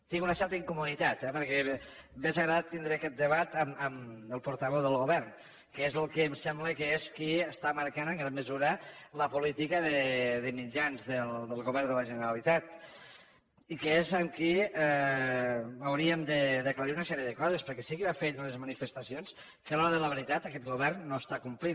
tinc una certa incomoditat eh perquè m’hauria agradat tindre aquest debat amb el portaveu del govern que és el que em sembla que és qui està marcant en gran mesura la política de mitjans del govern de la generalitat i que és amb qui hauríem d’aclarir una sèrie de coses perquè sí que va fer ell unes manifestacions que a la hora de la veritat aquest govern no està complint